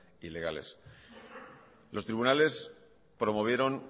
ilegales los tribunales promovieron